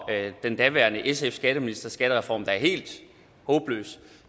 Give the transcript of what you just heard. den daværende sf skatteministers skattereform da helt håbløs